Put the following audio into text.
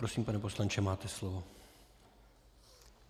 Prosím, pane poslanče, máte slovo.